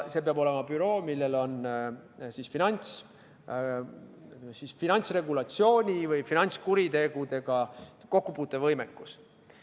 See peab olema büroo, millel on finantsregulatsiooni või finantskuritegudega kokkupuutumise kogemus.